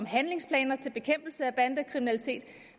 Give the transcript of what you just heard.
handlingsplaner for bekæmpelse af bandekriminalitet